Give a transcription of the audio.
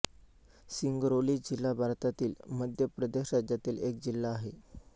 सिंगरौली जिल्हा भारतातील मध्य प्रदेश राज्यातील एक जिल्हा आहे